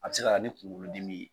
A bɛ se na ni kunkolodimi ye